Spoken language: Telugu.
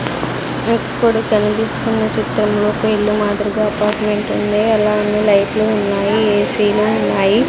ఇప్పుడు కనిపిస్తున్న చిత్రంలో ఒక ఇల్లు మాదిరిగా అపార్ట్మెంట్ ఉంది అలానే లైట్లు ఉన్నాయి ఏసీలు ఉన్నాయి.